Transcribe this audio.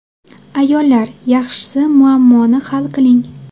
Ayollar, yaxshisi muammoni hal qiling.